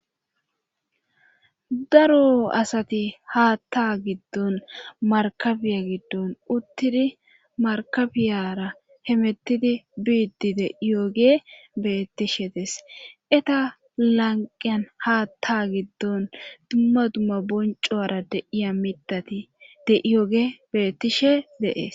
daro asati haatta giddon markabiya giddon uttidi markabiyara hemettidi biiddi de iyooge beettishe des eta lanqiyan haatta giddon dumma dumma boncuara deiya midati deiyooge bettishe de,es